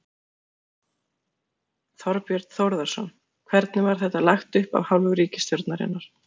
Þorbjörn Þórðarson: Hvernig var þetta lagt upp af hálfu ríkisstjórnarinnar?